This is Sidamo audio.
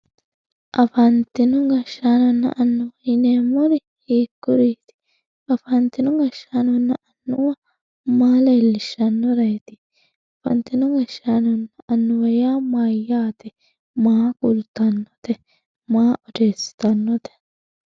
afantino gashaanonna annuwa yineemori hiikuriiti afantino gashaanonna annuwa maa lellishshannoreeti afantino gashaanonna annuwa yaa mayaate maa kultannote maa odeesitannote